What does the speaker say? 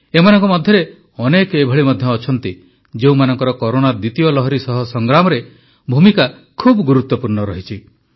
ଏମାନଙ୍କ ମଧ୍ୟରେ ଅନେକ ଏଭଳି ମଧ୍ୟ ଅଛନ୍ତି ଯେଉଁମାନଙ୍କର କରୋନା ଦ୍ୱିତୀୟ ଲହରୀ ସହ ସଂଗ୍ରାମରେ ଭୂମିକା ଖୁବ୍ ଗୁରୁତ୍ୱପୂର୍ଣ୍ଣ ରହିଛି